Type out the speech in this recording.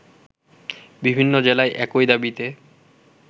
বিভিন্ন জেলায় একই দাবিতে